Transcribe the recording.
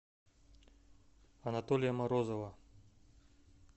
анатолия морозова